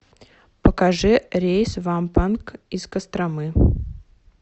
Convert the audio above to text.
покажи рейс в ампанг из костромы